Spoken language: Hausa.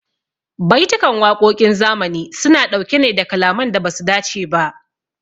Baitukan waƙoƙin zamani su na ɗauke ne da kalaman da basu dace ba